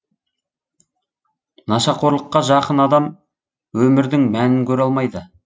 нашақорлыққа жақын адам өмірдің мәнін көре алмайды